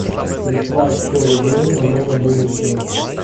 прислать сто рублей на мой мобильный счет